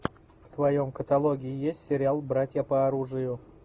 в твоем каталоге есть сериал братья по оружию